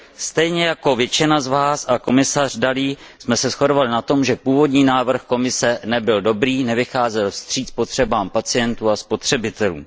Stejně jako většina z vás a komisař Dalli jsme se shodli na tom, že původní návrh Komise nebyl dobrý, nevycházel vstříc potřebám pacientů a spotřebitelům.